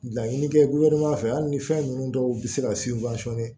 Laɲini kɛ hali ni fɛn ninnu dɔw bi se ka